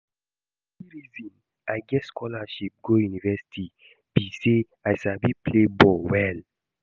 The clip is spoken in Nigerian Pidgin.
The only reason I get scholarship go university be say I sabi play ball well